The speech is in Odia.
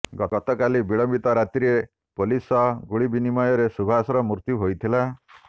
ଗତକାଲି ବିଳମ୍ବିତ ରାତ୍ରିରେ ପୋଲିସ ସହ ଗୁଳିବିନିମୟରେ ସୁଭାଷର ମୃତ୍ୟୁ ହୋଇଥିଲା